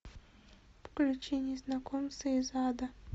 включи незнакомцы из ада